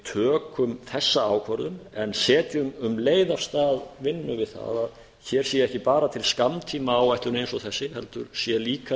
tökum þessa ákvörðun en setjum um leið á stað vinnu við það að hér sé ekki bara til skammtímaáætlun eins og þessi heldur sé